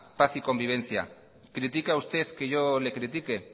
paz y convivencia critica usted que yo le critique